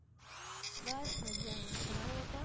બસ મજામાં તમારું બતાઓ.